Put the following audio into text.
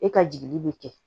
E ka jigi bɛ kɛ